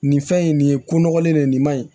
Nin fɛn in nin ye ko nɔgɔlen de ye nin ma ɲi